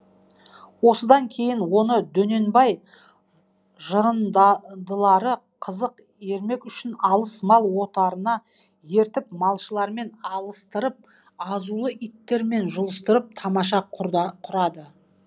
осыдан кейін оны дөненбай қызық ермек үшін алыс мал отарына ертіп малшылармен алыстырып азулы иттермен жұлыстырып тамаша құрады